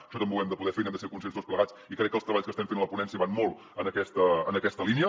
això també ho hem de poder fer i n’hem de ser conscients tots plegats i crec que els treballs que estem fent a la ponència van molt en aquesta línia